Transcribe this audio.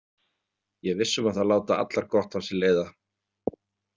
Ég er viss um að þær láta allar gott af sér leiða.